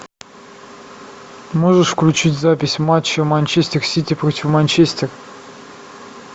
можешь включить запись матча манчестер сити против манчестер